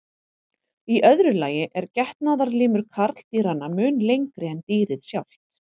Í öðru lagi er getnaðarlimur karldýranna mun lengri en dýrið sjálft.